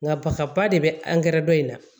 Nka nafaba de be angɛrɛ dɔ in na